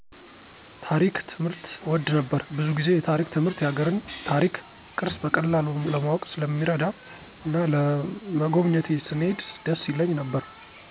ታሪክ ትምህርት እወድ ነበር። ብዙ ጊዜ የታሪክ ትምህርት የሀገርን ታሪክ፣ ቅርስ በቀላሉ ለማወቅ ስለሚረዳ እና ለመጎብኜት ስንሄድ ደስ ይለኝ ነበር።